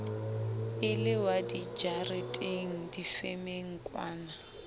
e le wa dijareteng difemengkwana